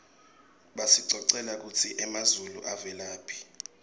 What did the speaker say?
basicocela kutsi emazulu avelaphi